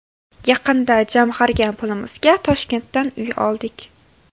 Yaqinda jamg‘argan pulimizga Toshkentdan uy oldik.